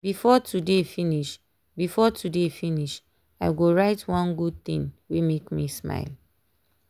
before today finish before today finish i go write one good thing wey make me smile.